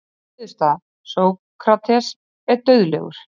Niðurstaða: Sókrates er dauðlegur.